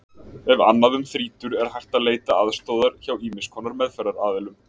Ef annað um þrýtur er hægt að leita aðstoðar hjá ýmiss konar meðferðaraðilum.